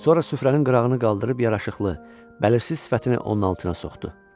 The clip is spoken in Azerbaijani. Sonra süfrənin qırağını qaldırıb yaraşıqlı bəllirsiz sifətini onun altına soxdu.